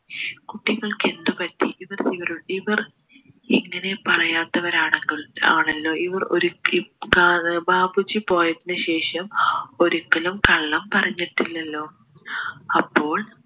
കുട്ടികൾക്ക് എന്തു പറ്റി ഇവർ ഇവരുടെ ഇവർ ഇങ്ങനെ പറയാത്തവരാണെങ്കിൽ ആണെല്ലോ ഇവർ ഒരിക്കയും ബാപ്പുജി പോയതിന് ശേഷം ഒരിക്കലും കള്ളം പറഞ്ഞിട്ടില്ലല്ലോ അപ്പോൾ